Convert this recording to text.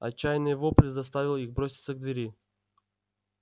отчаянный вопль заставил их броситься к двери